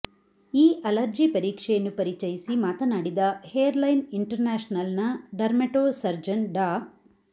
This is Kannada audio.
ಈ ಅಲರ್ಜಿ ಪರೀಕ್ಷೆಯನ್ನು ಪರಿಚಯಿಸಿ ಮಾತನಾಡಿದ ಹೇರ್ಲೈನ್ ಇಂಟರ್ನ್ಯಾಷನಲ್ನ ಡರ್ಮೆಟೋಸರ್ಜನ್ ಡಾ